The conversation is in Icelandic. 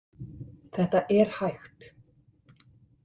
Þetta er hægt.